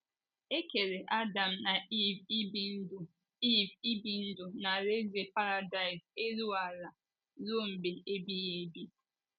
E kere Adam na Iv ibi ndụ Iv ibi ndụ na alaeze paradaịs elu ala ruo mgbe ebighị ebi